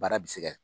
Baara bɛ se ka